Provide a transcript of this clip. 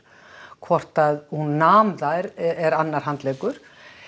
hvort að hún nam þær er annar handleggur